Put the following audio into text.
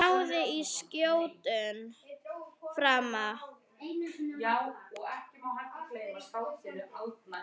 Og náði skjótum frama.